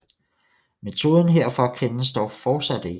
Metoden herfor kendes dog fortsat ikke